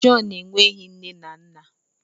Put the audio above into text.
John nweghị nne na nna!